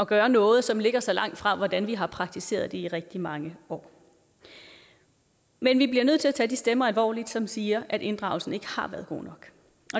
gøre noget som ligger så langt fra hvordan vi har praktiseret det i rigtig mange år men vi bliver nødt til at tage de stemmer alvorligt som siger at inddragelsen ikke har været god nok